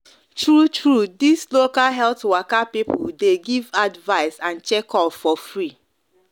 true true this local health waka people the give advice and check up for free